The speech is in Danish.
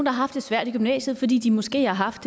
haft det svært i gymnasiet fordi de måske har haft